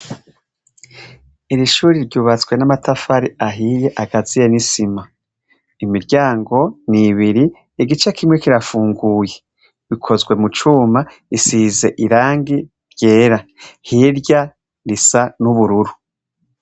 Iri shure ryubatswe n'amatafari ahiye, akaziyemwo isima. Imiryango ni ibiri, igice kimwe kirafunguye, ikozwe mu cuma, isize irangi ryera. Hirya isa n'ubururu.